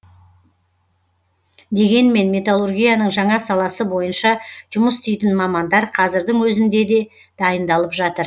дегенмен металлургияның жаңа саласы бойынша жұмыс істейтін мамандар қазірдің өзінде дайындалып жатыр